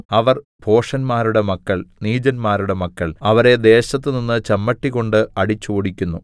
അവർ ഭോഷന്മാരുടെ മക്കൾ നീചന്മാരുടെ മക്കൾ അവരെ ദേശത്തുനിന്ന് ചമ്മട്ടികൊണ്ട് അടിച്ചോടിക്കുന്നു